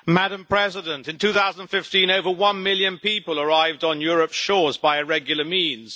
Madam President, in 2015 over one million people arrived on Europe's shores by irregular means.